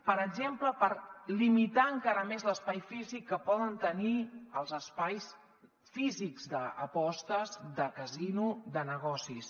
per exemple per limitar encara més l’espai físic que poden tenir els espais físics d’apostes de casino de negocis